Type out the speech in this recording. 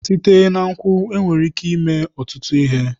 Site na nkwụ nwere ike ime ọtụtụ ihe.